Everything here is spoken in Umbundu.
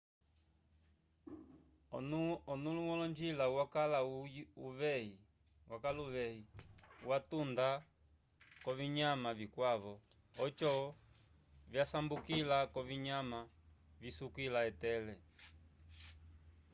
onũlo wolonjila yakala uveyi watunda k'ovinyama vikwavo oco vyasambukila k'ovinyama visukila etele